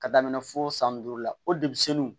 Ka daminɛ fo san duuru la o de bi se nin